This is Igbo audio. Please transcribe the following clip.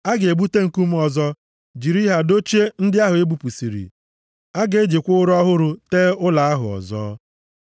A ga-ebute nkume ọzọ jiri ha dochie ndị ahụ e bupụsịrị. A ga-ejikwa ụrọ ọhụrụ tee ụlọ ahụ ọzọ.